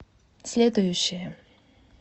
следующая